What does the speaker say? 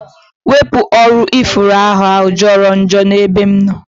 Wepụ ọrụ ifuru ahụa jọrọ njọ n'ebe m nọ